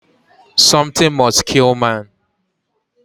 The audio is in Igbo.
something must kill man